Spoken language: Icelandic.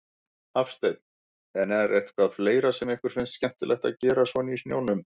Hafsteinn: En er eitthvað fleira sem ykkur finnst skemmtilegt að gera svona í snjónum?